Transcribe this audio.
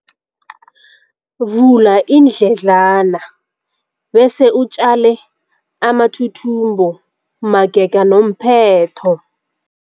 Vula iindledlana bese utjale amathuthumbo magega nomphetho.